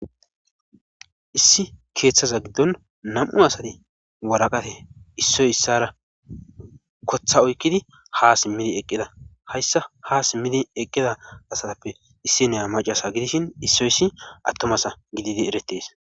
Issi keethaza gidon nam'u asati waraqate issoy issara koththa oykkidi ha simidi eqqida hayssan ha simidi eqqida asappe issiniya macca asa gidishin issoyssi atuma asa gididi eretees.